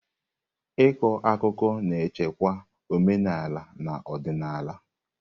Ịkọ akụkọ na-echekwa omenala na odịnala.